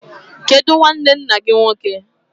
Kedu nnwanne nna gị nwoke?